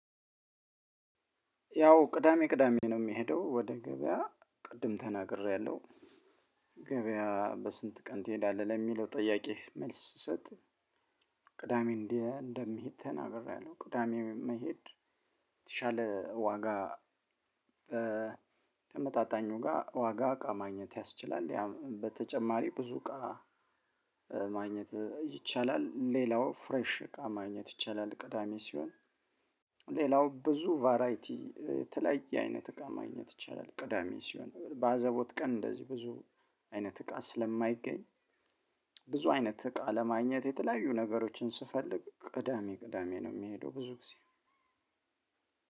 ያው ቅዳሜ ቅዳሜ ነው የምሄደው ወደ ገበያ ቅድም ተናግሬያለሁ ገበያ በስንት ቀን ትሄዳለህ ለሚለው ጥያቂ መልስ ስሰጥ ቅዳሜ እንደምሄድ ተናግሬያለሁ ቅዳሜ መሄድ የተሻለ ዋጋ ተመጣጣኙ ጋር ዋጋ እቃ ማግኘት ያስችላል። በተጨማሪ ብዙ እቃ ማግኘት ይቻላል። ሌላው ፍሬሽ እቃ ማግኘት ይቻላል ቅዳሜ ሲሆን። ሌላው ብዙ ቫራይቲ የተለያየ አይነት እቃ ማግኘት ይቻላል ቅዳሜ ሲሆን በአዘቦት ቀን እንደዚህ ብዙ አይነት እቃ ስለማይገኝ ብዙ አይነት እቃ ለማግኘት የተለያዩ ነገሮችን ስፈልግ ቅዳሜ ቅዳሜ ነው የምሄደው ብዙ ጊዜ